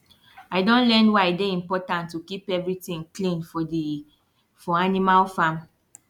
i don learn why e dey important to keep every tin clean for di for animal farm